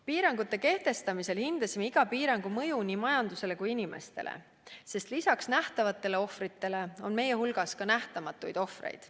Piirangute kehtestamisel hindasime iga piirangu mõju nii majandusele kui inimestele, sest lisaks nähtavatele ohvritele on meil ka nähtamatuid ohvreid.